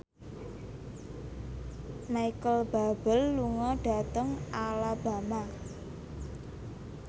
Micheal Bubble lunga dhateng Alabama